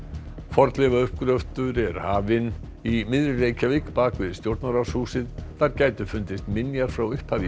fornleifauppgröftur er hafinn í miðri Reykjavík bak við Stjórnarráðshúsið þar gætu fundist minjar frá upphafi